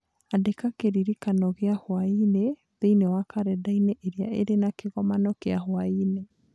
Andĩka kĩririkano gĩa hwaĩ-inĩ thĩinĩ wa kalendari ĩrĩa ĩrĩ na kĩgomano kĩa hwaĩ-inĩ